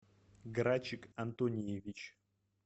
грачик антониевич